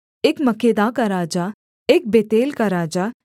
एक मक्केदा का राजा एक बेतेल का राजा